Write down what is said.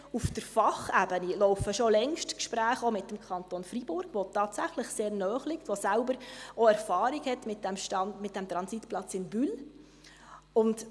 Auf der Fachebene laufen schon längst Gespräche, auch mit dem Kanton Freiburg, der tatsächlich sehr naheliegt, der selber auch Erfahrungen mit dem Transitplatz in Bulle hat.